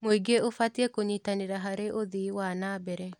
Mũingĩ ũbatiĩ kũnyitanĩra harĩ ũthii wa na mbere.